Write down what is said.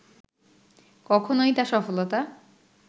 কখনওই তা সফলতা